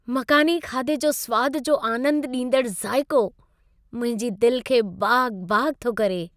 मक़ानी खाधे जे सुवाद जो आनंदु ॾींदड़ु ज़ाइक़ो, मुंहिंजी दिल खे बाग़-बाग़ थो करे।